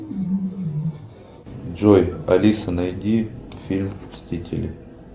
джой алиса найди фильм мстители